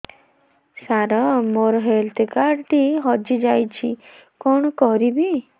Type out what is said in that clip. ସାର ମୋର health card ଟି ହଜି ଯାଇଛି କଣ କରିବି